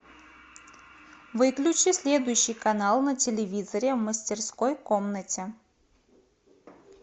выключи следующий канал на телевизоре в мастерской комнате